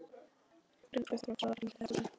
Grunnorkuþörf á sólarhring eftir aldri og kyni